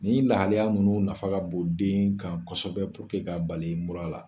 Nin lahalaya nunnu nafa ka bon den kan kosɛbɛ ka bali mura la.